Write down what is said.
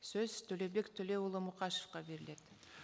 сөз төлеубек төлеуұлы мұқашевқа беріледі